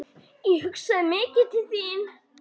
Ég hugsaði mikið til þín.